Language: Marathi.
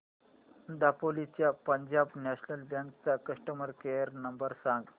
दापोली च्या पंजाब नॅशनल बँक चा कस्टमर केअर नंबर सांग